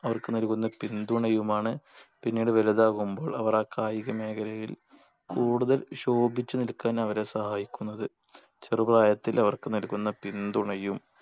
അവർക്ക് നൽകുന്ന പിന്തുണയുമാണ് പിന്നീട് വലുതാകുമ്പോൾ അവർ ആ കായിക മേഖലയിൽ കൂടുതൽ ശോഭിച്ചു നിൽക്കാൻ അവരെ സഹായിക്കുന്നത് ചെറുപ്രായത്തിൽ അവർക്ക് നൽകുന്ന പിന്തുണയും